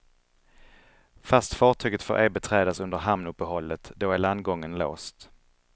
Fast fartyget får ej beträdas under hamnuppehållet, då är landgången låst.